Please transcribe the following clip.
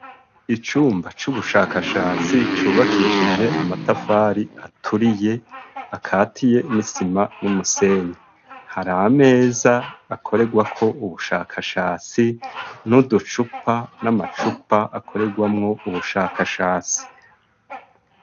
Icumba c'ubushakashatsi cubakishije amatafari aturiye ,akatiye n'isima n'umusenyi har'ameza akoregwa ko ubushakashatsi n'uducupa n'amacupa akoregwamwo ubushakashatsi.